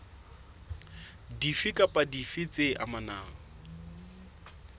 dife kapa dife tse amanang